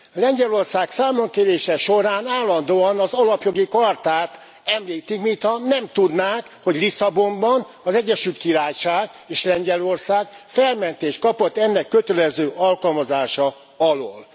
Lengyelország számonkérése során állandóan az alapjogi chartát említik, mintha nem tudnák, hogy Lisszabonban az Egyesült Királyság és Lengyelország felmentést kapott ennek kötelező alkalmazása alól.